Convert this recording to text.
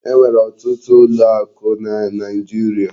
E nwere ọtụtụ ụlọ akụ na naijiria.